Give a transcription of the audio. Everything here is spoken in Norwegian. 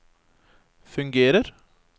fungerer